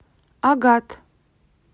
агат